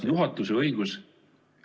... juhatuse õigus.